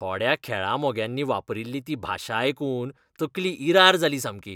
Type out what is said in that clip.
थोड्या खेळा मोग्यांनी वापरिल्ली ती भाशा आयकून तकली इरार जाली सामकी.